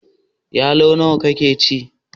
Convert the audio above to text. Yalo nawa ka ci?